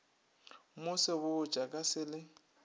mo sebotša ka se le